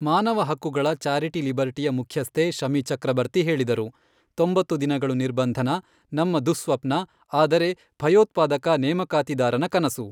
ಮಾನವ ಹಕ್ಕುಗಳ ಚಾರಿಟಿ ಲಿಬರ್ಟಿಯ ಮುಖ್ಯಸ್ಥೆ ಶಮಿ ಚಕ್ರಬರ್ತಿ ಹೇಳಿದರು, ತೊಂಬತ್ತು ದಿನಗಳು ನಿರ್ಬಂಧನ, ನಮ್ಮ ದುಃಸ್ವಪ್ನ ಆದರೆ ಭಯೋತ್ಪಾದಕ ನೇಮಕಾತಿದಾರನ ಕನಸು.